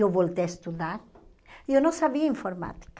Eu voltei a estudar e eu não sabia informática.